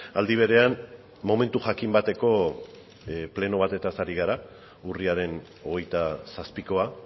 aldi berean momentu jakin bateko pleno batez ari gara urriaren hogeita zazpikoa